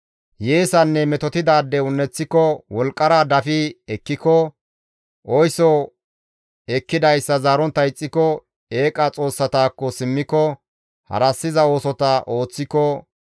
hiyeesanne metotettidaade un7eththiko, wolqqara dafi ekkiko, oyso ekkidayssa zaarontta ixxiko, eeqa xoossatakko simmiko, harassiza oosota ooththiko,